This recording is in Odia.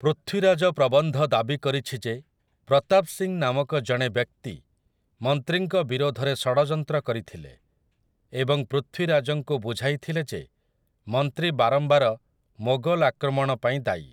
ପୃଥ୍ୱୀରାଜ ପ୍ରବନ୍ଧ ଦାବି କରିଛି ଯେ ପ୍ରତାପ ସିଂ ନାମକ ଜଣେ ବ୍ୟକ୍ତି ମନ୍ତ୍ରୀଙ୍କ ବିରୋଧରେ ଷଡ଼ଯନ୍ତ୍ର କରିଥିଲେ ଏବଂ ପୃଥ୍ୱୀରାଜଙ୍କୁ ବୁଝାଇଥିଲେ ଯେ ମନ୍ତ୍ରୀ ବାରମ୍ବାର ମୋଗଲ ଆକ୍ରମଣ ପାଇଁ ଦାୟୀ ।